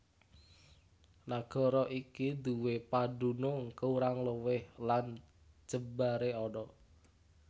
Nagara iki nduwé padunung kurang luwih lan jembaré ana